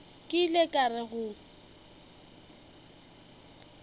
ke ile ka re go